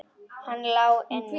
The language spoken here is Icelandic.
Hann lá inni!